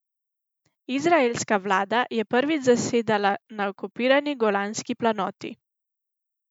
Izraelska vlada je prvič zasedala na okupirani Golanski planoti.